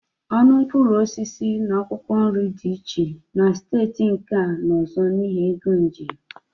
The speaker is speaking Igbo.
Ọnụ mkpụrụ osisi na akwụkwọ nri dị iche na steeti nke a na ọzọ n'ihi égo njem